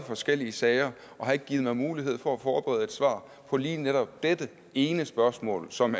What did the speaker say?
forskellige sager og har ikke givet mig mulighed for at forberede et svar på lige netop dette ene spørgsmål som